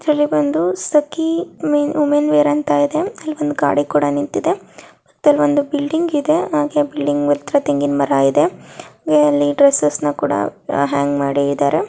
ಇಲ್ಲಿ ಬಂದು ಸಖೀ ಮಿನ್-ವುಮೆನ್ ವೇರ್ ಅಂತ ಇದೆ. ಅಲ್ ಬಂದ್ ಗಾಡಿ ಕೂಡ ನಿಂತಿದೆ. ಇದಲ್ ಒಂದು ಬಿಲ್ಡಿಂಗ್ ಇದೆ. ಹಾಗೆ ಬಿಲ್ಡಿಂಗ್ ಹತ್ತ್ರ ತೆಂಗಿನ್ ಮರ ಇದೆ. ಹಾಗೆ ಅಲ್ಲಿ ಡ್ರೆಸ್ಸೆಸ್ ನ ಕೂಡ ಹ್ಯಾಂಗ್ ಮಾಡ--